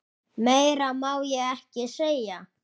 Meira má ég ekki segja.